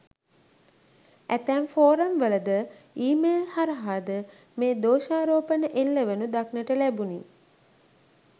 ඇතැම් ෆෝරම් වලද ඊමේල් හරහා ද මේ දෝෂාරෝපණ එල්ලවනු දක්නට ලැබුණි.